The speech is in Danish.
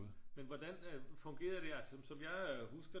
Men hvordan øh fungerede det altså som som jeg husker